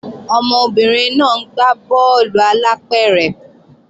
Ọmọbìnrin náà ń gbá bọ́ọ̀lù alápẹ̀rẹ̀